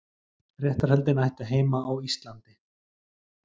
Réttarhöldin ættu heima á Íslandi